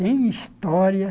Tem história?